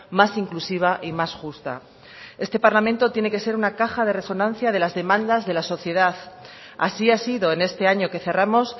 más inclusiva y más justa este parlamento tiene que ser una caja de resonancia de las demandas de la sociedad así ha sido en este año que cerramos